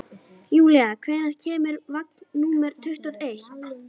Júlían, hvenær kemur vagn númer tuttugu og eitt?